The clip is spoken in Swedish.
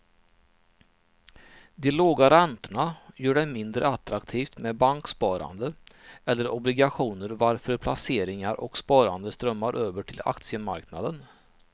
De låga räntorna gör det mindre attraktivt med banksparande eller obligationer varför placeringar och sparande strömmar över till aktiemarknaden.